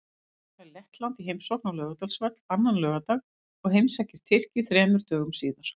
Ísland fær Lettland í heimsókn á Laugardalsvöll annan laugardag og heimsækir Tyrki þremur dögum síðar.